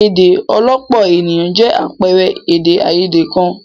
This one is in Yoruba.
Èdè àìyedè ọlọ́pọ̀ ènìyàn jẹ́ àpẹẹrẹ èdè àìyedè kan.